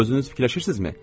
Özünüz fikirləşirsizmi?